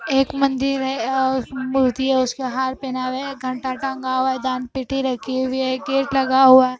एक मंदिर है और मूर्ति है उसको हार पहना रहे हैं। घंटा टंगा हुआ है। दान पेटी रखी हुई है। गेट लगा हुआ है।